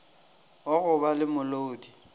wa go ba le molodi